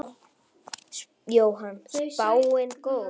Jóhann: Spáin góð?